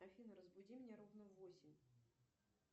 афина разбуди меня ровно в восемь